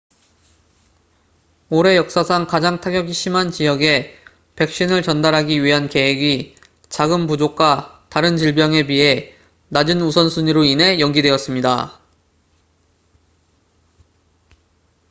올해 역사상 가장 타격이 심한 지역에 백신을 전달하기 위한 계획이 자금 부족과 다른 질병에 비해 낮은 우선순위로 인해 연기되었습니다